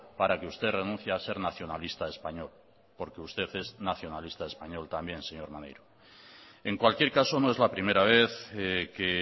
para que usted renuncie a ser nacionalista español porque usted es nacionalista español también señor maneiro en cualquier caso no es la primera vez que